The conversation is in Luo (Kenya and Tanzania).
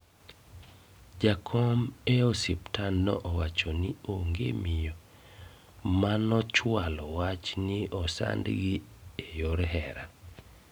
Jakom e osuptandno owacho ni onge miyo manochwalo wach ni nosandgi e yor hera